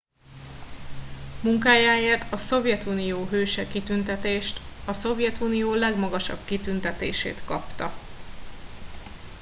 "munkájáért a "szovjetunió hőse" kitüntetést a szovjetunió legmagasabb kitüntetését kapta.